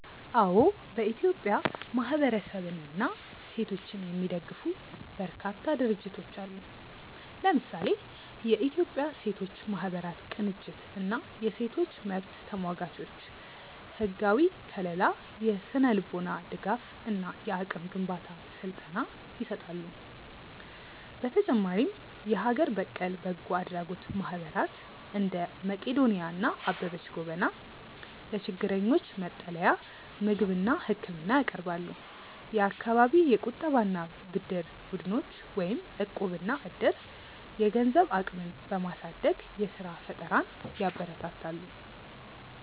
አዎ፥ በኢትዮጵያ ማህበረሰብንና ሴቶችን የሚደግፉ በርካታ ድርጅቶች አሉ። ለምሳሌ፦ የኢትዮጵያ ሴቶች ማህበራት ቅንጅት እና የሴቶች መብት ተሟጋቾች፦ ህጋዊ ከልላ፣ የስነ-ልቦና ድጋፍ እና የአቅም ግንባታ ስልጠና ይሰጣሉ። በተጨማሪም የሀገር በቀል በጎ አድራጎት ማህበራት (እንደ መቅዶንያ እና አበበች ጎበና) ለችግረኞች መጠለያ፣ ምግብና ህክምና ያቀርባሉ። የአካባቢ የቁጠባና ብድር ቡድኖች (እቁብ/ዕድር)፦ የገንዘብ አቅምን በማሳደግ የስራ ፈጠራን ያበረታታሉ።